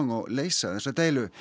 og leysa þessa deilu